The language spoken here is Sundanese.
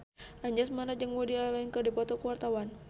Anjasmara jeung Woody Allen keur dipoto ku wartawan